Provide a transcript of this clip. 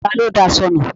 Ta ló daṣọ nu?